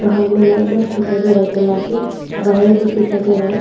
बाहर में लाइट बफ दिखाई दे रहा है जला के वायर भी दिखाई दे रहा है।